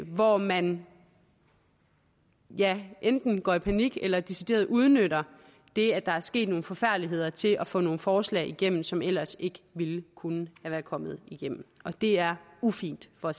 hvor man ja enten går i panik eller decideret udnytter det at der er sket nogle forfærdeligheder til at få nogle forslag igennem som ellers ikke ville kunne være kommet igennem og det er ufint for